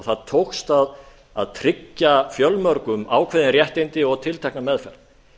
það tókst að tryggja fjölmörgum ákveðin réttindi og tiltekna meðferð